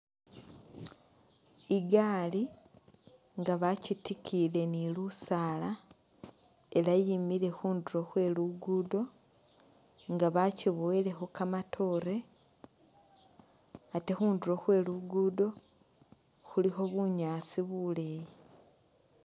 Igali nga bakyitikiyile ni lusala ela yimile khunduro khwe lugudo nga bakyibowelekho kamatore ate khunduro khwe lugudo khulikho bunyaasi buleyi.